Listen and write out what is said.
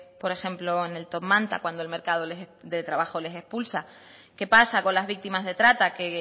por ejemplo en el top manta cuando el mercado de trabajo les expulsa qué pasa con las víctimas de trata que